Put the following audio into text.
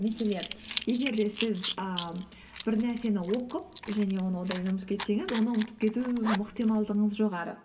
мәселен егер де сіз ііі бір нәрсені оқып және оны ұмытып кетсеңіз оны ұмытып кету ықтималдығыңыз жоғары